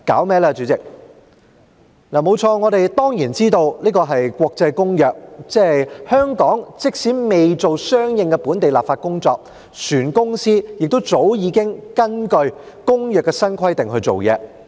沒錯，我們當然知道《公約》是國際公約，那即是說，即使香港未進行相應的本地立法工作，船公司亦早已根據《公約》的新規定做事。